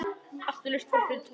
Áttu laust borð fyrir tvo?